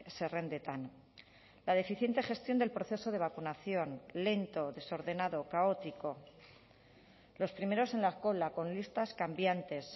zerrendetan la deficiente gestión del proceso de vacunación lento desordenado caótico los primeros en la cola con listas cambiantes